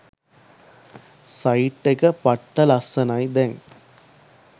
site එක පට්ට ලස්සනයි දැන්